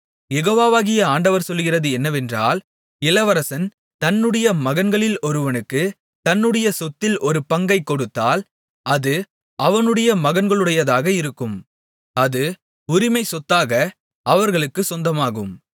யெகோவாகிய ஆண்டவர் சொல்லுகிறது என்னவென்றால் இளவரசன் தன்னுடைய மகன்களில் ஒருவனுக்குத் தன்னுடைய சொத்தில் ஒரு பங்கைக் கொடுத்தால் அது அவனுடைய மகன்களுடையதாக இருக்கும் அது உரிமைச் சொத்தாக அவர்களுக்குச் சொந்தமாகும்